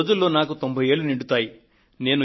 కొద్ది రోజులలో నాకు 90 ఏళ్లు నిండుతాయి